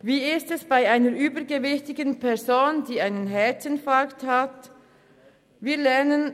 Wie ist es bei einer übergewichtigen Person, welche einen Herzinfarkt erleidet?